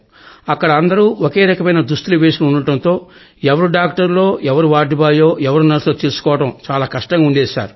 అక్కడ అందరూ ఓకేరకమైన దుస్తులు వేసుకొని ఉండడంతో ఎవరు డాక్టర్లో ఎవరు వార్డు బాయో ఎవరు నర్సో తెలుసుకోవడం చాలా కష్టంగా ఉండేది